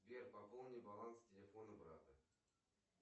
сбер пополни баланс телефона брата